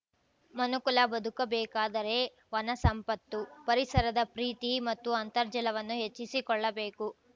ಮನುಕುಲ ಬದುಕಬೇಕಾದರೆ ವನ ಸಂಪತ್ತು ಪರಿಸರದ ಪ್ರೀತಿ ಮತ್ತು ಅಂತರ್ಜಲವನ್ನು ಹೆಚ್ಚಿಸಿಕೊಳ್ಳಬೇಕು